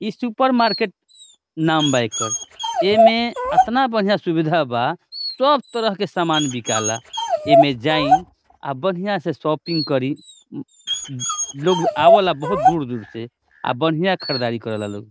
इ supermarket नाम बा एकर | एमे अतना बढ़िया सुविधा बा सब तरह के सामान बिकाला | एमे जाई आ बढ़िया से शॉपिंग करि उम्म लोग आवला बहुत दूर दूर से आ बढ़िया खरदारी करेला लोग |